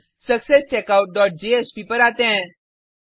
अब success checkout dot JSP पर आते हैं